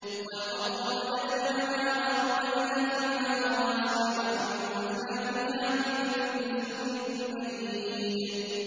وَالْأَرْضَ مَدَدْنَاهَا وَأَلْقَيْنَا فِيهَا رَوَاسِيَ وَأَنبَتْنَا فِيهَا مِن كُلِّ زَوْجٍ بَهِيجٍ